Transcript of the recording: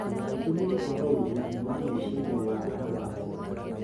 Gĩtũmi nĩ kwaga ũrigitani wa meciria wa andũ akũrũ.